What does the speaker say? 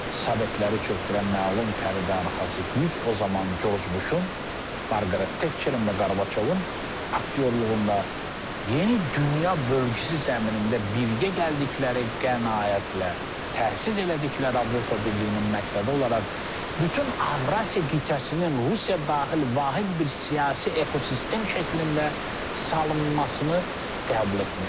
Sovetləri çökdürən məlum pərdəarxası güc o zaman Jorj Buşun, Marqaret Tetçerin və Qarbaçovun aktyorluğunda yeni dünya bölgüsü zəminində birgə gəldikləri qənaətlə təhsis elədikləri Avropa Birliyinin məqsədi olaraq bütün Avrasiya qitəsini Rusiya daxil vahid bir siyasi ekosistem şəklində salınmasını qəbul etmişdilər.